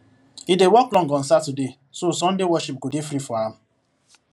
he dey work long on saturday so sunday worship go dey free for am